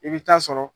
I bɛ taa sɔrɔ